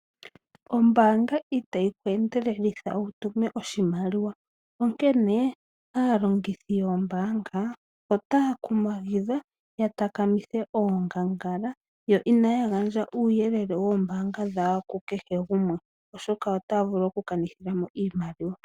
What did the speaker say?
Ombaanga itayi ku endelelitha wutume oshimaliwa onkene aalongithi yombaanga otaya kumagidhwa ya kotokele ongangala yo inaya gandja uuyelele wawo woombanga ku kehe gumwe oshoka otaya vulu okukanithila mo iimaliwa.